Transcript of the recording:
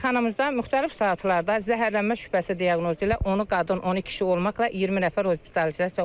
Xəstəxanamızdan müxtəlif saatlarda zəhərlənmə şübhəsi diaqnozu ilə 10 qadın, 10 kişi olmaqla 20 nəfər hospitalizasiya olunub.